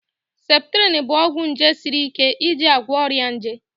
septrin bụ ọgwụ nje siri ike eji agwọ ọrịa nje